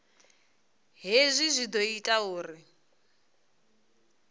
hezwi zwi ḓo ita uri